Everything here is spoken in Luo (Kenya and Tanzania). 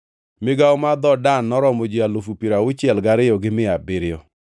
Migawo mar dhood Dan noromo ji alufu piero auchiel gariyo gi mia abiriyo (62,700).